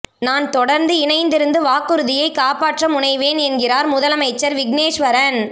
நான் தொடர்ந்து இணைந்திருந்து வாக்குறுதியை காப்பாற்ற முனைவேன் என்கிறார் முதலமைச்சர் விக்னேஸ்வரன்